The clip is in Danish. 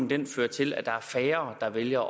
vil føre til at der er færre der vælger